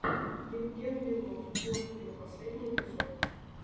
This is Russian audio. евген белов воткино последний эпизод